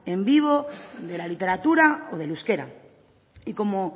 en vivo de la literatura o del euskera y como